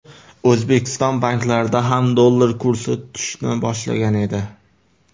O‘zbekiston banklarida ham dollar kursi tushishni boshlagan edi .